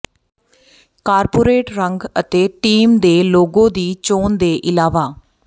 corporate ਰੰਗ ਅਤੇ team ਦੇ ਲੋਗੋ ਦੀ ਚੋਣ ਦੇ ਇਲਾਵਾ